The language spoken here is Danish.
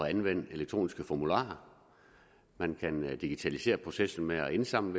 at anvende elektroniske formularer man kan digitalisere processen med at indsamle